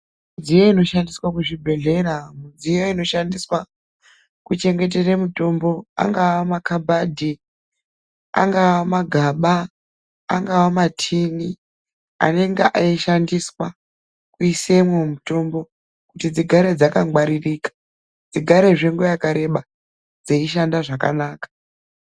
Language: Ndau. Midziyo inoshandiswa kuzvibhedhlera midziyo inoshandiswa kuchengetere mitombo angaa makabadhi, angaa magaba, angaa matini anenga eishandiswa kuisemwo mitombo kuti dzigare dzakangwaririka, dzigarazve nguva yakareba dzeishanda zvakanaka.